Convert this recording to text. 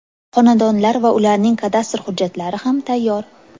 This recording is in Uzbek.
Xonadonlar va ularning kadastr hujjatlari ham tayyor.